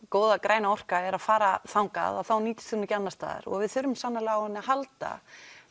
góða græna orkan er að fara þangað þá nýtist hún ekki annars staðar og við þurfum sannarlega á henni að halda